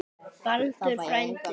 Baldur frændi.